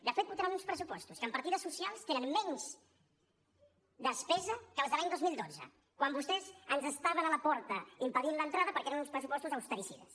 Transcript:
de fet votaran uns pressupostos que en partides socials tenen menys despesa que les de l’any dos mil dotze quan vostès ens estaven a la porta impedint l’entrada perquè eren uns pressupostos austericides